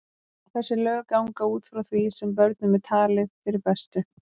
Þessi lög ganga út frá því sem börnum er talið fyrir bestu.